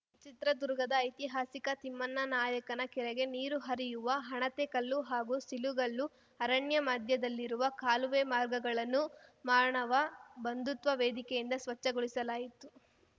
ಚಿತ್ರದುರ್ಗದ ಐತಿಹಾಸಿಕ ತಿಮ್ಮಣ್ಣನಾಯಕನ ಕೆರೆಗೆ ನೀರು ಹರಿಯುವ ಹಣತೆಕಲ್ಲು ಹಾಗೂ ಸಿಲುಗಲ್ಲು ಅರಣ್ಯ ಮಧ್ಯದಲ್ಲಿರುವ ಕಾಲುವೆ ಮಾರ್ಗಗಳನ್ನು ಮಾನವ ಬಂಧುತ್ವ ವೇದಿಕೆಯಿಂದ ಸ್ವಚ್ಛಗೊಳಿಸಲಾಯಿತು